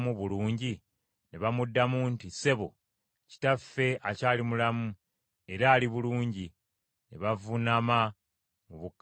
Ne bamuddamu nti, “Ssebo, kitaffe akyali mulamu era ali bulungi.” Ne bavuunama mu bukkakkamu.